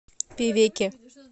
певеке